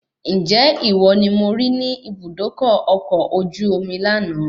Ǹjẹ́ ìwọ ni mo rí ní Ibùdókọ̀ ọkọ̀ ojú omi lànà